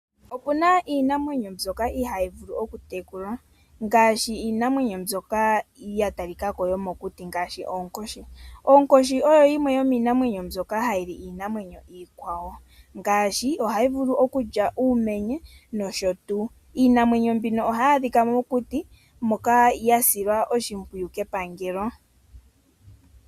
Opena iinamwenyo ndyoka ihaayi vulu okutekulwa ngaashi iinamwenyo ndyoka yatalikako yomokuti ngaashi oonkoshi. Onkoshi oyo yimwe yomiinamwenyo ndyoka hayi li iinamwenyo iikwawo ohayi vulu okulya uumenye nosho tuu. Iinamwenyo mbika ohayi adhika mokuti moka hayi silwa oshipwiyu kepangelo.